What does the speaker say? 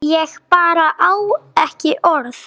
Ég bara á ekki orð.